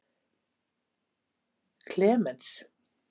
Klemens